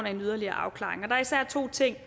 af en yderligere afklaring der er især to ting